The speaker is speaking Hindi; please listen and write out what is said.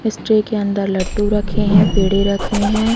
इस ट्रे के अंदर लड्डू रखें हैं पेड़े रखें हैं।